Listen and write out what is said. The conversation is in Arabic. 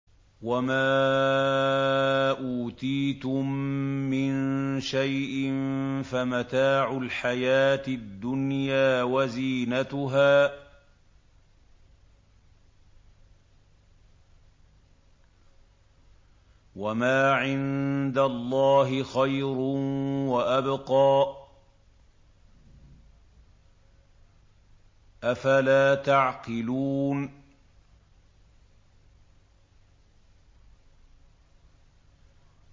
وَمَا أُوتِيتُم مِّن شَيْءٍ فَمَتَاعُ الْحَيَاةِ الدُّنْيَا وَزِينَتُهَا ۚ وَمَا عِندَ اللَّهِ خَيْرٌ وَأَبْقَىٰ ۚ أَفَلَا تَعْقِلُونَ